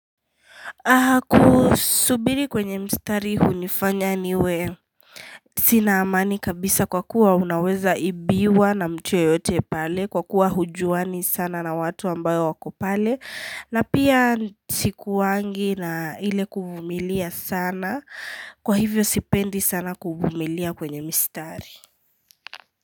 Kusubiri kwenye mstari hunifanya niwe Sina amani kabisa kwa kuwa unaweza ibiwa na mtu yeyote pale Kwa kuwa haujuani sana na watu ambao wako pale na pia sikuwangi na ile kuvumilia sana kwa hivyo sipendi sana kuvumilia kwenye mistari.